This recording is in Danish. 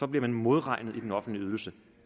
bliver man modregnet i den offentlige ydelse